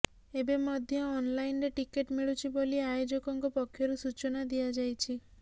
ଏବେ ମଧ୍ୟ ଅନ୍ଲାଇନ୍ରେ ଟିକେଟ୍ ମିଳୁଛି ବୋଲି ଆୟୋଜକଙ୍କ ପକ୍ଷରୁ ସୂଚନା ଦିଆଯାଇଛି